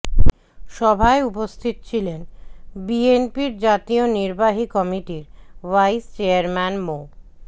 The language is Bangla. সভায় উপস্থিত ছিলেন বিএনপির জাতীয় নির্বাহী কমিটির ভাইস চেয়ারম্যান মো